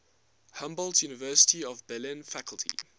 humboldt university of berlin faculty